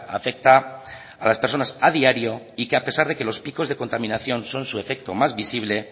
afecta a las personas a diario y que a pesar de que los picos de contaminación son su efecto más visible